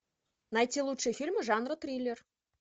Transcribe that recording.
найти лучшие фильмы жанра триллер